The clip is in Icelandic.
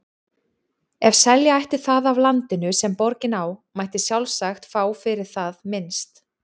Ef selja ætti það af landinu, sem borgin á, mætti sjálfsagt fá fyrir það minnst